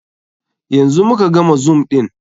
Yanzu mu ka gama zoom ɗin.